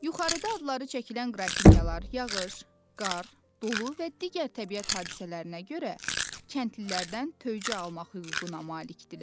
Yuxarıda adları çəkilən qrafinyalar, yağış, qar, dolu və digər təbiət hadisələrinə görə kəndlilərdən töycə almaq hüququuna malikdirlər.